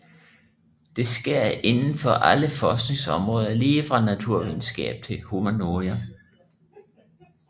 Det sker inden for alle forskningsområder lige fra naturvidenskab til humaniora